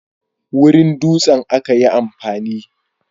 wurin dutsen aka yi amfani